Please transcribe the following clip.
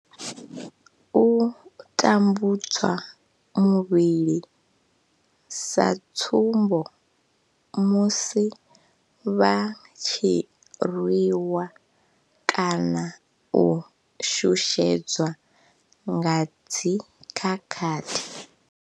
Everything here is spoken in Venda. U tambudzwa muvhili, sa tsumbo, musi vha tshi rwiwa kana u shushedzwa nga dzi khakhathi.